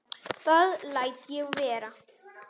Það læt ég vera